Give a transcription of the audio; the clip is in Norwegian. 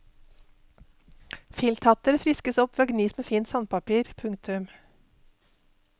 Filthatter friskes opp ved å gnis med fint sandpapir. punktum